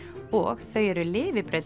og þau eru lifibrauð